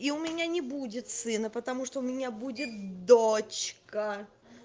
и у меня не будет сына потому что у меня будет дочка